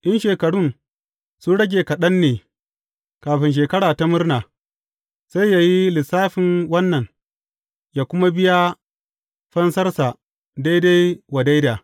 In shekarun sun rage kaɗan ne kafin Shekara ta Murna, sai yă yi lissafin wannan, yă kuma biya fansarsa daidai wa daida.